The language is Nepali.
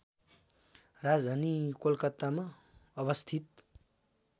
राजधानी कोलकातामा अवस्थित